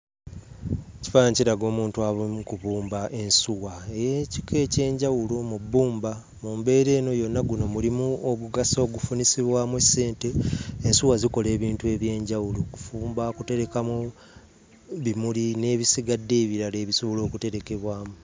Ekifaananyi kiraga omuntu ali mu kubumba ensuwa ey'ekika eky'enjawulo mu bbumba. Mu mbeera eno yonna guno mulimu ogugasa ogufunisibwamu ssente. Ensuwa zikola ebintu eby'enjawulo: kufumba, kuterekamu bimuli n'ebisigadde ebirala ebisobola okuterekebwamu.